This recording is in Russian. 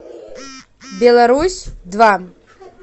беларусь два